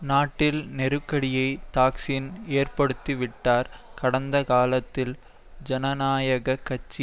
நாட்டில் நெருக்கடியை தாக்சின் ஏற்படுத்திவிட்டார் கடந்த காலத்தில் ஜனநாயக கட்சி